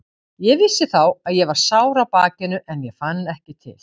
Ég vissi þá að ég var sár á bakinu en ég fann ekki til.